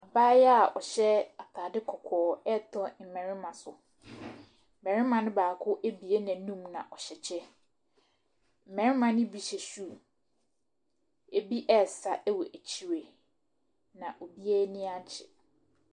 Abaayaa a ɔhyɛ atade kɔkɔɔ retɔ mmarima so. Barima no baako abue n'anum, na ɔhyɛ kyɛ. Mmarima no bi hyɛ shoe. Ɛbi resa wɔ akyire, na obiara ani agye.